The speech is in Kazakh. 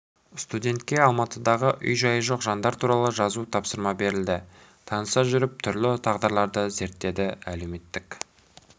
студентке алматыдағы үй-жайы жоқ жандар туралы жазу тапсырма берілді таныса жүріп түрлі тағдырларды зерттеді әлеуметтік